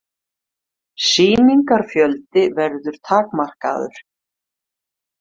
Sýningafjöldi verður takmarkaður